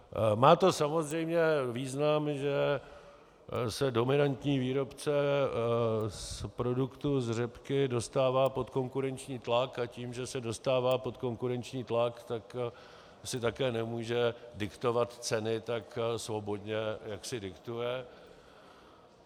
Má to samozřejmě význam, že se dominantní výrobce produktů z řepky dostává pod konkurenční tlak, a tím, že se dostává pod konkurenční tlak, tak si také nemůže diktovat ceny tak svobodně, jak si diktuje.